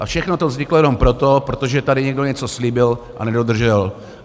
A všechno to vzniklo jenom proto, protože tady někdo něco slíbil a nedodržel.